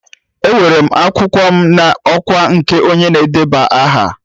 Ewere m akwụkwọ m n'ọkwa nke onye na-edeba aha.